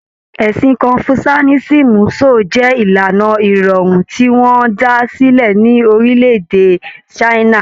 Ẹ̀sìn Kọnfuṣiánisìmù so jẹ ìlànà ìròrí tí wọn dá sílẹ̀ ní orílẹ̀-èdè China